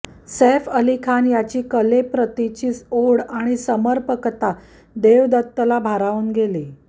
सैफ अली खान याची कलेप्रतीची ओढ आणि समर्पकता देवदत्तला भारावून गेली